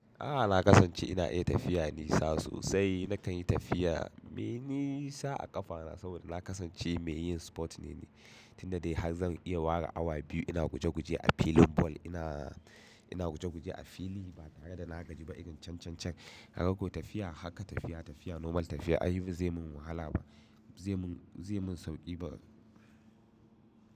A'a na kasance ina iya tafiya nisa sosai. Nakan yi tafiya mai nisa a ƙafa na saboda na kasance mai yin spot ne ni. Tina dai har zan iya ware awa biyu ina guje-guje a filin ball. Ina, ina guje-guje a fili ba tare da na gaji ba, irin can can can. Kaga ko tafiya, haka tafiya, tafiya normal tafiya ayi ba zai mun wahala ba, zai mun, zai mun sauƙi ba.